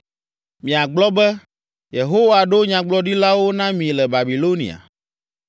Miagblɔ be, “Yehowa ɖo nyagblɔɖilawo na mi le Babilonia.”